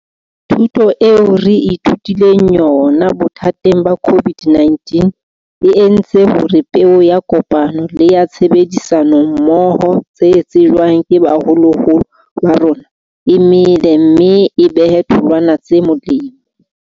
Thuto eo re ithutileng yona bothateng ba COVID-19 e entse hore peo ya kopano le ya tshebedisano mmoho tse jetsweng ke baholoholo ba rona e mele mme e behe tholwana tse molemo.